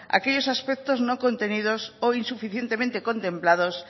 aquellos aspectos no contenidos o insuficientemente contemplados